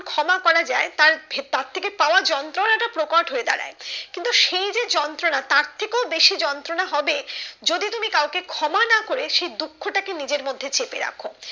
ক্ষমাকরা যায় তার ভে তার থেকে পাওয়া যন্ত্রনা টা প্রকট হয়ে দাঁড়ায় কিন্তু সেই যে যন্ত্রনা তার থেকেও বেশি যন্ত্রনা হবে যদি তুমি কাউকে ক্ষমা না করে সেই দুঃখ টা কে নিজের মধ্যে চেপে রাখো